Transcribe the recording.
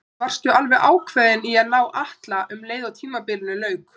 Varstu alveg ákveðinn í að ná í Atla um leið og tímabilinu lauk?